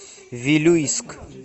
вилюйск